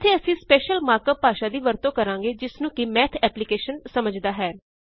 ਇਥੇ ਅਸੀਂ special mark up ਭਾਸ਼ਾ ਦੀ ਵਰਤੋਂ ਕਰਾਂਗੇ ਜਿਸਨੂੰ ਕਿ ਮੱਠ ਐਪਲੀਕੇਸ਼ਨ ਸਮਝਦਾ ਹੈ